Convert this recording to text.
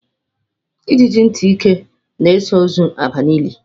Ijiji ntị ike na-eso ozu aba n'ili